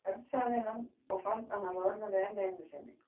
Örn sagði hann og fann að hann roðnaði enn einu sinni.